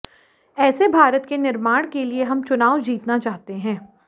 ऐसे भारत के निर्माण के लिए हम चुनाव जीतना चाहते हैं